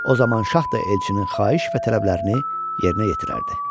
O zaman şah da elçinin xahiş və tələblərini yerinə yetirərdi.